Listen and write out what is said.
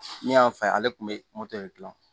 Min y'an fa ye ale kun bɛ de dilan